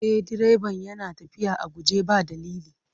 E, direban yana tafiya a guje ba dalili.